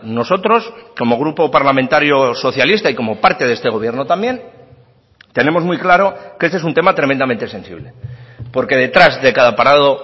nosotros como grupo parlamentario socialista y como parte de este gobierno también tenemos muy claro que este es un tema tremendamente sensible porque detrás de cada parado